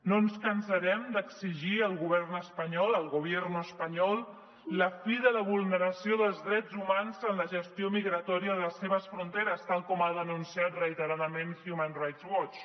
no ens cansarem d’exigir al govern espanyol al gobierno español la fi de la vulneració dels drets humans en la gestió migratòria de les seves fronteres tal com ha denunciat reiteradament human rights watch